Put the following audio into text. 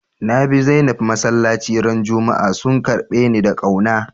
Na bi Zainab masallaci ran Juma'a, sun karbe ni da kauna.